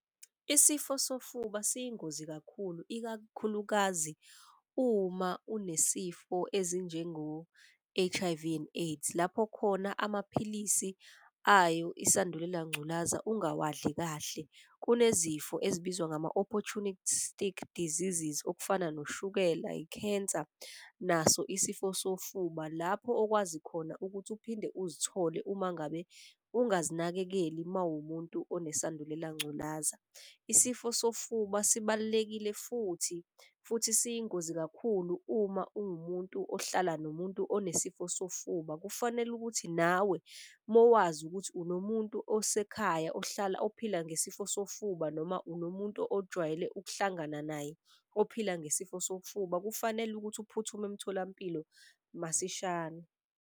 Isifo sofuba siyingozi kakhulu ikakhulukazi uma unesifo ezinjengo H_I_V and AIDS. Lapho khona amaphilisi ayo isandulela ngculaza ungawadli kahle. Kunezifo ezibizwa ngama-Opportunic Stick Diseases okufana noshukela, ikhensa, naso isifo sofuba. Lapho okwazi khona ukuthi uphinde uzithole uma ngabe ungazinakekeli mawumuntu onesandulela ngculaza. Isifo sofuba sibalulekile futhi siyingozi kakhulu uma uwumuntu ohlala nomuntu onesifo sofuba, kufanele ukuthi nawe mowazi ukuthi unomuntu osekhaya. Ophila ngesifo sofuba noma unomuntu ojwayele ukuhlangana naye ophila ngesifo sofuba. Kufanele ukuthi uphuthume emtholampilo masishane.